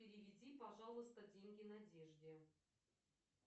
переведи пожалуйста деньги надежде